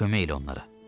Kömək elə onlara.